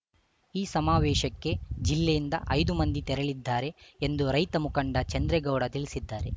ಈ ಸಮಾವೇಶಕ್ಕೆ ಜಿಲ್ಲೆಯಿಂದ ಐದು ಮಂದಿ ತೆರಳಿದ್ದಾರೆ ಎಂದು ರೈತ ಮುಖಂಡ ಚಂದ್ರೇಗೌಡ ತಿಳಿಸಿದ್ದಾರೆ